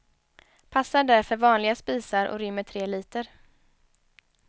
Passar därför vanliga spisar och rymmer tre liter.